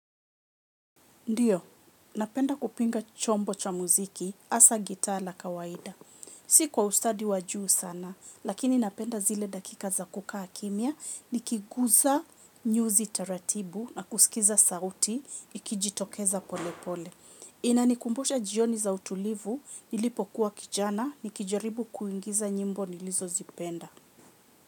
Ndiyo, napenda kupinga chombo cha muziki, hasaa gitaa la kawaida. Si kwa ustadi wa juu sana, lakini napenda zile dakika za kuka kimia, nikiguza nyuzi taratibu na kusikiza sauti, ikijitokeza pole pole. Inanikumbusha jioni za utulivu, nilipo kuwa kijana, nikijaribu kuingiza nyimbo nilizo zipenda.